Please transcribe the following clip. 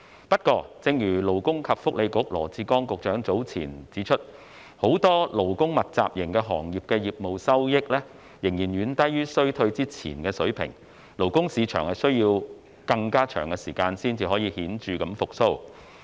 不過，正如勞工及福利局羅致光局長早前指出，很多勞工密集型行業的業務收益，仍然遠低於疫情前的水平，勞工市場需要更長時間才能顯著復蘇。